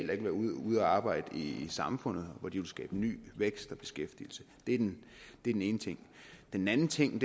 vil være ude at arbejde i samfundet hvor det skabe ny vækst og beskæftigelse det er den ene ene ting den anden ting